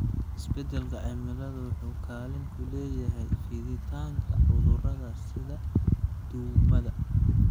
Isbeddelka cimilada wuxuu kaalin ku leeyahay fiditaanka cudurrada sida duumada.